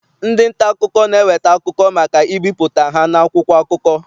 Ndị nta akụkọ na-eweta akụkọ maka ibipụta ha n'akwụkwọ akụkọ.